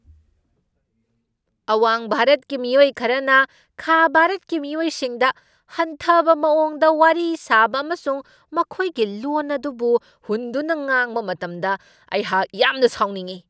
ꯑꯋꯥꯡ ꯚꯥꯔꯠꯀꯤ ꯃꯤꯑꯣꯏ ꯈꯔꯅ ꯈꯥ ꯚꯥꯔꯠꯀꯤ ꯃꯤꯑꯣꯏꯁꯤꯡꯗ ꯍꯟꯊꯕ ꯃꯋꯣꯡꯗ ꯋꯥꯔꯤ ꯁꯥꯕ ꯑꯃꯁꯨꯡ ꯃꯈꯣꯏꯒꯤ ꯂꯣꯟ ꯑꯗꯨꯕꯨ ꯍꯨꯟꯗꯨꯅ ꯉꯥꯡꯕ ꯃꯇꯝꯗ ꯑꯩꯍꯥꯛ ꯌꯥꯝꯅ ꯁꯥꯎꯅꯤꯡꯢ ꯫